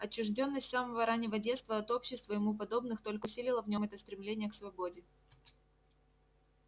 отчуждённость с самого раннего детства от общества ему подобных только усилила в нём это стремление к свободе